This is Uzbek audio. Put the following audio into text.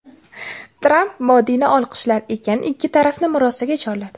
Tramp Modini olqishlar ekan, ikki tarafni murosaga chorladi.